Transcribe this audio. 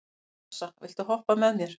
Assa, viltu hoppa með mér?